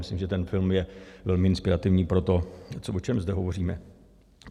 Myslím, že ten film je velmi inspirativní pro to, o čem zde hovoříme.